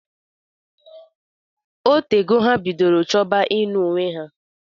Otena ha bidoro chọba inụ onwe ha.